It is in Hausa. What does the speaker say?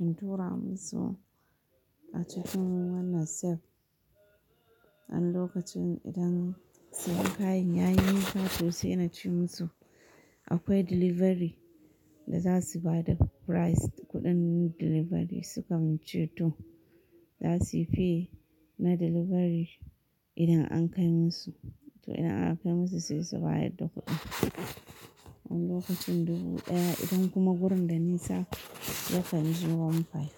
in tura musu a cikin wannan "safe". Wani lokacin idan siyan kayan ya yi nisa, to sai na ce musu akwai delivery da za su bada price kuɗin delivery sukan ce to za suy pay na delivery idan an kai musu. To idan aka kai musu sai su bayar da kuɗin. Wani okacin dubu ɗaya idan kuma gurin da nisa ya kan je one five.